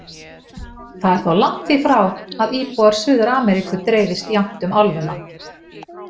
Það er þó langt því frá að íbúar Suður-Ameríku dreifist jafnt um álfuna.